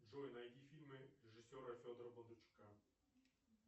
джой найди фильмы режиссера федора бондарчука